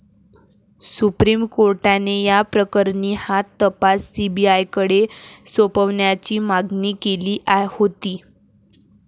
Supreme कोर्टाने या प्रकरणी हा तपास सीबीआयकडे सोपवण्याची मागणी केली होती.